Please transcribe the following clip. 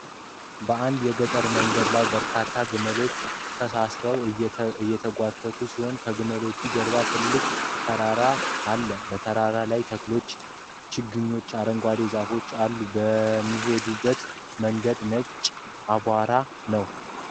በአንድ የገጠር መንገድ ላይ በርካታ ግመሎች ተሳስረው እየተጎተቱ ሲሄዱ፣ ከግመሎቹ ጀርባ ትልቅ ተራራ ይታያል፣ በተራራው ላይ ተክሎች፣ ችግኞችና አረንጓዴ ዛፎች አሉ የሚሄዱበት መንገድ ነጭ አቧራ ነው።